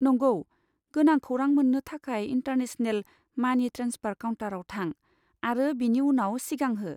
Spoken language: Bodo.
नंगौ, गोनां खौरां मोन्नो थाखाय इन्टारनेशनेल मानि ट्रेन्सफार काउन्टाराव थां आरो बेनि उनाव सिगांहो।